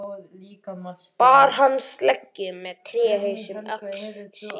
Bar hann sleggju með tréhaus um öxl sér.